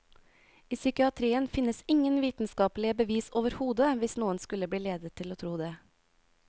I psykiatrien finnes ingen vitenskapelige bevis overhodet, hvis noen skulle bli ledet til å tro det.